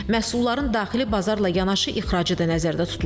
Məhsulların daxili bazarla yanaşı ixracı da nəzərdə tutulur.